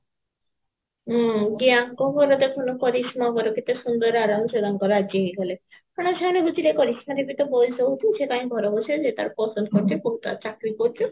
ହୁଁ କି ଆଙ୍କ ବର ଦେଖୁନୁ କରିଶ୍ମା ବର କେତେସୁନ୍ଦର ଆରମସେ ତାଙ୍କ ଘରେ ରାଜି ହେଇଗଲେ କାରଣ ସେମାନେ ବୁଝିଲେ କରିଶ୍ମାର ବି ତ ବୟସ ହଉଛି ସେ କାଇଁ ଘର ବସିବ ସେ ତାର ପସନ୍ଦ କରିଛି ପୁଅ ତାର ଚାକିରି କରୁଛି